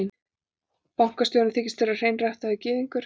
Bankastjórinn þykist vera hreinræktaður gyðingur.